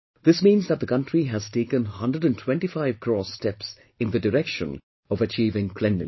This means that the country has taken 125 crore steps in the direction of achieving cleanliness